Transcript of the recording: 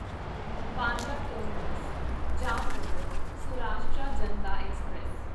Bandra terminus Jamnagar Saurashtra Janata express